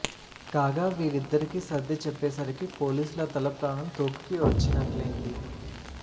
కాగా వీరిద్దరికీ సర్ది చెప్పేసరికి పోలీసుల తల ప్రాణం తోకకు వచ్చినట్లేంది